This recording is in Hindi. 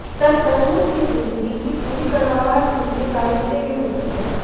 सचमुच की ज़िंदगी की पूरी कड़वाहट उनके साहित्य में मिलती है